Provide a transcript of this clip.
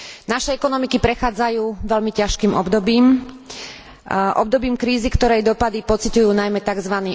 Naše ekonomiky prechádzajú veľmi ťažkým obdobím, obdobím krízy, ktorej dopady pociťujú najmä tzv.